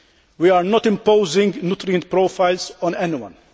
We are not imposing nutrient profiles on anyone.